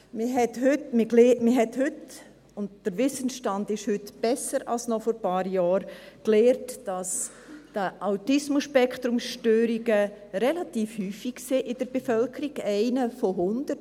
Man hat heute gelernt, und der Wissensstand ist heute besser als noch vor ein paar Jahren, dass die ASS relativ häufig sind in der Bevölkerung: 1 von 100.